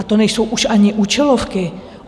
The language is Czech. A to nejsou už ani účelovky.